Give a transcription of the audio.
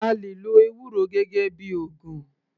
A lè lo ewúro gẹ́gẹ́ bíi ògùn.